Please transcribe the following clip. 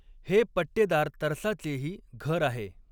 हे पट्टेदार तरसाचेही घर आहे.